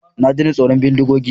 Na daina tsoron bindigogi.